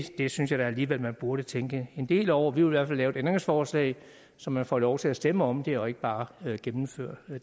det synes jeg da alligevel man burde tænke en del over vi hvert fald lave et ændringsforslag så man får lov til at stemme om det og ikke bare gennemfører